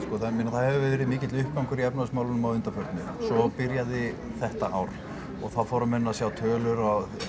það hefur verið mikill uppgangur í efnahagsmálunum að undanförnu svo byrjaði þetta ár og þá fóru menn að sjá tölur